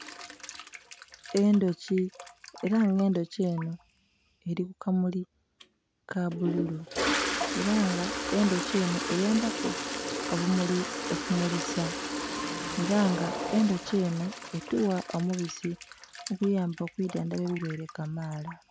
Endhoki era nga endhoki enho eri ku kamuli ka bbulu era nga endhoki enho eyambaku obumuli okumulisa era nga endhoki enho etugha omubisi oguyamba okwidhandhaba endhwaire kamaala.